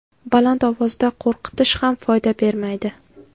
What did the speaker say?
Baland ovozda qo‘rqitish ham foyda bermaydi.